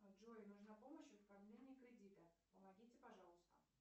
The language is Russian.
джой нужна помощь в оформлении кредита помогите пожалуйста